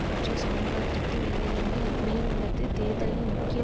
பற்றிய சமூக அதிருப்தி வேலையின்மை மேல் உள்ளது தேர்தலில் முக்கிய